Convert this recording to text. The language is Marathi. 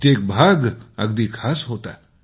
प्रत्येक भाग अगदी खास होता